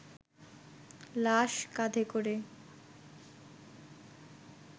লাশ কাঁধে করে